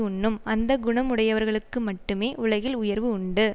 உண்ணும் அந்த குணம் உடையவர்களுக்கு மட்டுமே உலகில் உயர்வு உண்டு